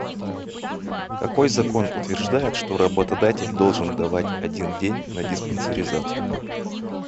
какой закон утверждает что работодатель должен давать один день на диспарензацию